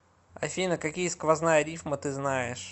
афина какие сквозная рифма ты знаешь